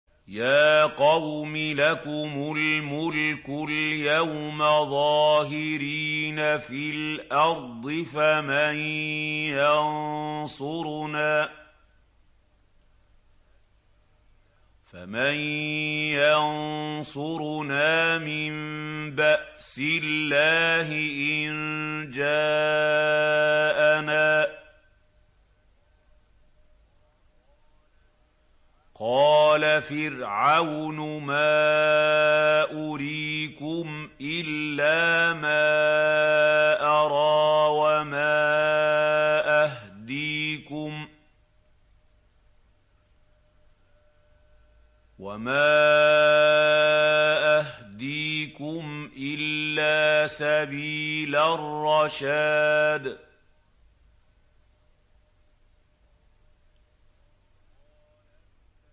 يَا قَوْمِ لَكُمُ الْمُلْكُ الْيَوْمَ ظَاهِرِينَ فِي الْأَرْضِ فَمَن يَنصُرُنَا مِن بَأْسِ اللَّهِ إِن جَاءَنَا ۚ قَالَ فِرْعَوْنُ مَا أُرِيكُمْ إِلَّا مَا أَرَىٰ وَمَا أَهْدِيكُمْ إِلَّا سَبِيلَ الرَّشَادِ